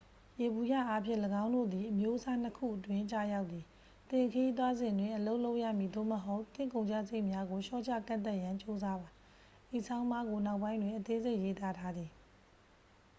ယေဘုယျအားဖြင့် ၎င်းတို့သည် အမျိုးအစားနှစ်ခုအတွင်း ကျရောက်သည် သင်ခရီးသွားစဉ်တွင် အလုပ်လုပ်ရမည် သို့မဟုတ် သင့်ကုန်ကျစရိတ်များကို လျှော့ချကန့်သတ်ရန် ကြိုးစားပါ ဤဆောင်းပါးကို နောက်ပိုင်းတွင် အသေးစိတ် ရေးသားထားသည်